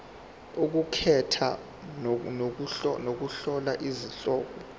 ukukhetha nokuhlola izihloko